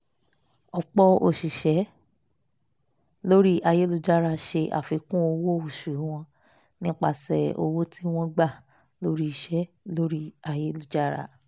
ọ̀pọ̀ òṣìṣẹ́ lórí ayélujára ṣe àfíkún owó oṣù wọn nípasẹ̀ owó tí wọn gbà lórí iṣẹ́ lórí ayélujára